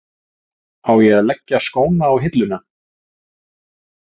Á að leggja skónna á hilluna?